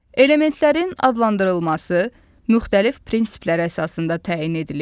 Elementlərin adlandırılması müxtəlif prinsiplər əsasında təyin edilib.